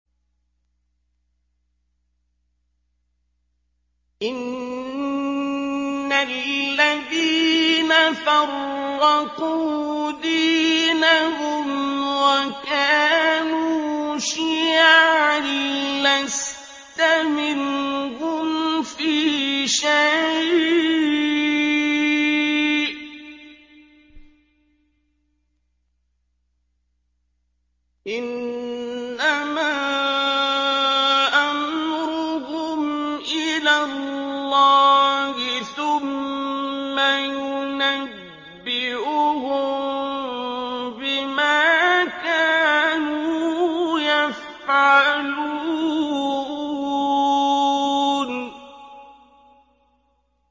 إِنَّ الَّذِينَ فَرَّقُوا دِينَهُمْ وَكَانُوا شِيَعًا لَّسْتَ مِنْهُمْ فِي شَيْءٍ ۚ إِنَّمَا أَمْرُهُمْ إِلَى اللَّهِ ثُمَّ يُنَبِّئُهُم بِمَا كَانُوا يَفْعَلُونَ